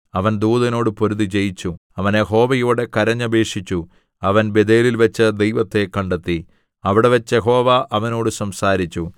അവൻ ദൂതനോട് പൊരുതി ജയിച്ചു അവൻ യഹോവയോട് കരഞ്ഞപേക്ഷിച്ചു അവൻ ബേഥേലിൽവച്ച് ദൈവത്തെ കണ്ടെത്തി അവിടെവച്ച് യഹോവ അവനോട് സംസാരിച്ചു